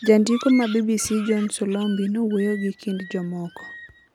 Jandiko ma BBC John Solombi nowuoyo gi kind jogomoko.